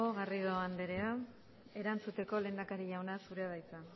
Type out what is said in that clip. garrido andrea erantzuteko lehendakari jauna zurea da hitza